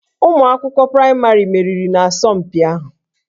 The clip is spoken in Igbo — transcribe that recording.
Ụmụ akwụkwọ praịmarị meriri n'asọmpi ahụ